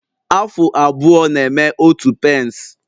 Afụ abụọ na-eme otu pence